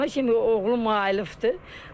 Ona kimi oğlum mayılıbdır.